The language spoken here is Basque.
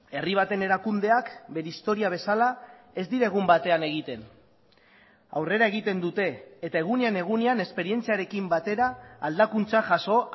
herri baten erakundeak bere historia bezala ez dira egun batean egiten aurrera egiten dute eta egunean egunean esperientziarekin batera aldakuntza jaso